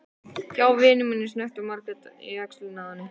Hjá vini mínum, snökti Margrét í öxlina á henni.